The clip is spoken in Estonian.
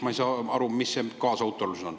Ma ei saa aru, mis see kaasautorlus on.